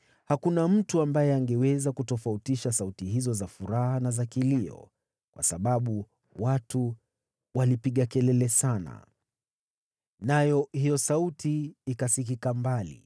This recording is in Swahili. Hakuna mtu ambaye angeweza kutofautisha sauti hizo za furaha na za kilio, kwa sababu watu walipiga kelele sana. Nayo hiyo sauti ikasikika mbali.